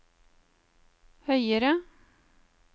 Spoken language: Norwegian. høyere